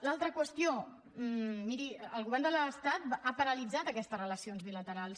l’altra qüestió miri el govern de l’estat ha paralitzat aquestes relacions bilaterals